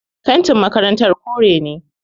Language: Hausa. Fentin makarantar kore ne